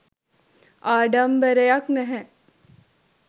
ආඩම්බරයක් නැහැ.